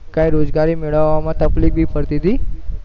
કઈ રોજગારી મેળવવામાં તફ્લીક ભી પડતી તી